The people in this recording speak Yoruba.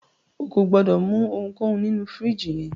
O kò gbọdọ̀ mú ohunkóhun nínu fìríjìì yẹn.